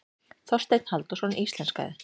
Þorsteinn Halldórsson íslenskaði.